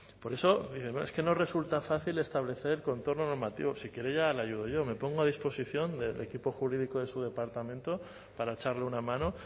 por eso es que no resulta fácil establecer contorno normativo si quiere ya le ayudo yo me pongo a disposición del equipo jurídico de su departamento para echarle una mano